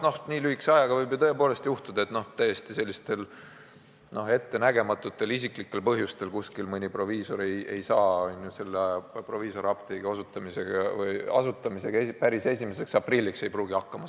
Mõnes kohas võib ju juhtuda, et täiesti ettenägematutel isiklikel põhjustel mõni proviisor ei saa proviisoriapteegi asutamisega päris 1. aprilliks hakkama.